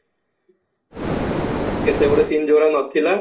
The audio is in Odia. ସେତେବଡ film କୁଆଡେ ନଥିଲା